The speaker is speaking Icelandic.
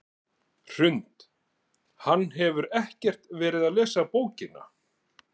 Hrund: Hann hefur ekkert verið að lesa bókina?